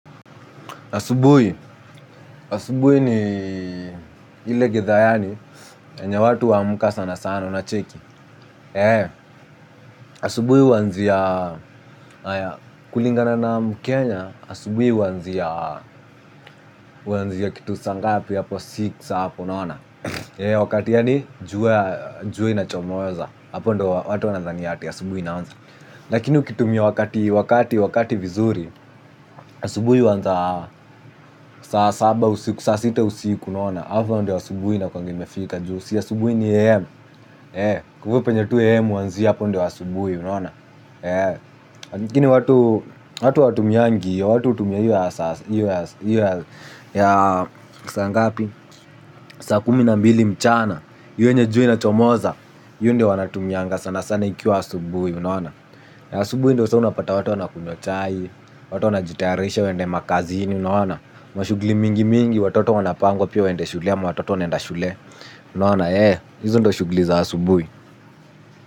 Asubui, asubui ni hile githaa yani, yenye watu uaka sana sana unacheki. Eee, asubui wanziya kulingana na mkenya, asubui wanziya kitu sangapi hapo six ahapo unaona. Eee, wakati yani juwa inachomoza, hapo ndo watu wanadhania, asubui naonza. Lakini ukitumia wakati, wakati, wakati vizuri, asubui uanza saa saba usiku, sasita usiku naona. Hufa ndo asubuhi inakuanga imefika juu si asubuhi ni am Kufu penye tu am uanzia hapo ndo asubuhi. Unaona. Kini watu watu awatumiangi io. Watu utumia iyo ya saa ngapi kumina mbili mchana io yenye jua inachomoza Yu ndo wanatumianga sana sana. Ikiwa asubuhi unaona na asubuhi ndo sa unapata watu wana kunywa chai. Watu wana jitayarisha wende makazini. Unaona. Mashugli mingi mingi watoto wanapangwa pia wende shule ama watoto wanaenda shule. Unaona eeh hizo ndo shugli za asubui.